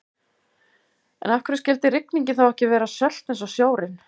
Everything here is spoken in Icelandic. En af hverju skyldi rigningin þá ekki vera sölt eins og sjórinn?